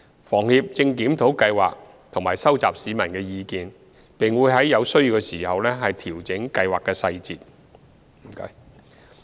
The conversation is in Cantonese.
房協正檢討計劃及收集市民意見，並會在有需要時調整計劃細節。